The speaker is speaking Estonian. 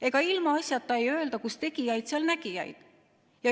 Ega ilmaasjata öelda "Kus tegijaid, seal nägijaid".